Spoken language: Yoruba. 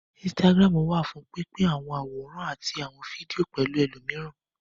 Instagram wà fún pín pín àwọn àwòrán àti àwọn fídíò pẹ̀lú ẹlòmíràn